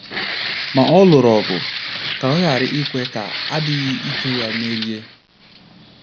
Ma ọ lụrụ ọgụ ka ọ ghara ikwe ka adịghị ike ya merie.